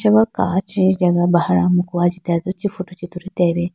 pura kachi atene bahar amuku chee ajitedo chee photo tulitelayi bi.